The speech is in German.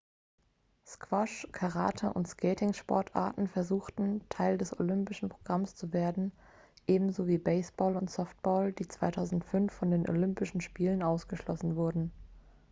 squash karate und skating-sportarten versuchten teil des olympischen programms zu werden ebenso wie baseball und softball die 2005 von den olympischen spielen ausgeschlossen wurden